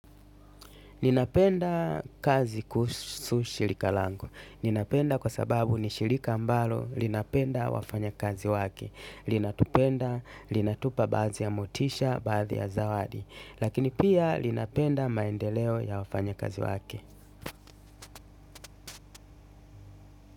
Ninapenda kazi kuhusu shirika langu ninapenda kwa sababu ni shirika ambalo. Ninapenda wafanyakazi wake. Linatupenda. Linatupa baadhi ya motisha baadhi ya zawadi lakini pia linatenda maendeleo ya wafanyakazi wake.